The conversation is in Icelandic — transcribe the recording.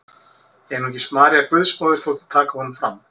Einungis María Guðsmóðir þótti taka honum fram.